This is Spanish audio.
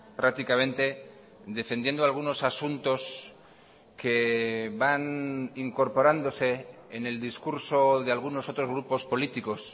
prácticamente defendiendo algunos asuntos que van incorporándose en el discurso de algunos otros grupos políticos